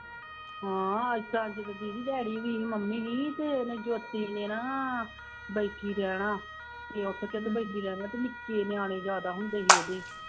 ਹਾਂ ਏਦਾਂ ਵੀ ਸੀ, ਦਿਹਾੜੀ ਵੀ ਸੀ, ਮੰਮੀ ਵੀ ਅਤੇ ਇਹਨੇ ਜੋਤੀ ਨੇ ਨਾ ਬੈਠੀ ਰਹਿਣਾ, ਕਿ ਉੱਠ ਕੇ ਬੈਠੀ ਰਹਿਣਾ ਨਿੱਕੇ ਨਿਆਣੇ ਜ਼ਿਆਦਾ ਹੁੰਦੇ ਸੀਗੇ ਉਹਦੇ